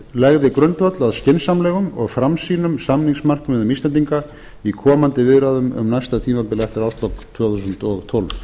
legði grundvöll að skynsamlegum og framsýnum samningsmarkmiðum íslendinga í komandi viðræðum um næsta tímabil eftir árslok tvö þúsund og tólf